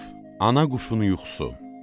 Ana quşunun yuxusu.